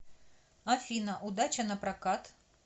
афина удача напрокат